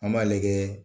An b'a lajɛ